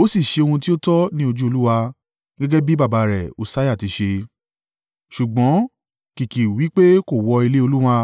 Ó sì ṣe ohun tí ó tọ́ ní ojú Olúwa, gẹ́gẹ́ bí baba rẹ̀ Ussiah ti ṣe, ṣùgbọ́n kìkì wí pé kò wọ ilé Olúwa.